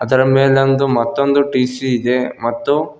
ಅದರ ಮೇಲೊಂದು ಮತ್ತೊಂದು ಟಿ_ಸಿ ಇದೆ ಮತ್ತು.